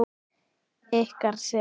Ykkar, Sif.